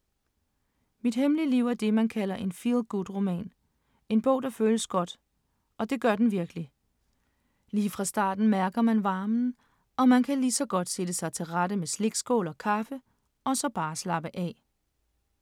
Mit hemmelige liv er det, man kalder en feel-good-roman, en bog der føles godt, og det gør den virkelig. Lige fra starten mærker man varmen, og man kan lige så godt sætte sig til rette med slikskål og kaffe og så bare slappe af.